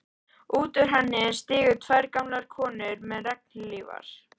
Út úr henni stigu tvær gamlar konur með regnhlífar.